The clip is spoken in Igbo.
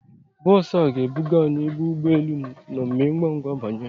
Bọs a ga ebuga anyị ebe ụgbọ elu nọ, Mee ngwa ngwa banye!